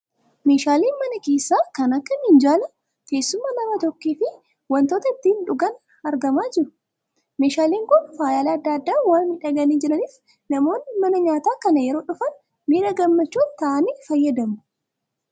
Meeeshaaleen mana keessaa kan akka, Minjaalaa, Teessuma nam-tokkee, fi wantoota itti dhugan argamaa jiru. Meeshaaleen kun faayyaalee adda addaan waan miidhaganii jiraniif namoonni mana nyaataa kana yeroo dhufan miira gammachuun ta'aanii fayyadamu.